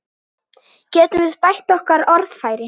Getum við bætt okkar orðfæri?